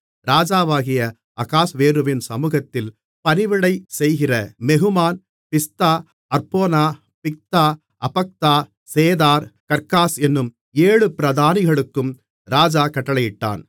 ராஜாவாகிய அகாஸ்வேருவின் சமுகத்தில் பணிவிடை செய்கிற மெகுமான் Biztha Harbona Bigtha Abagtha Zethar Carcas என்னும் ஏழு பிரதானிகளுக்கும் ராஜா கட்டளையிட்டான்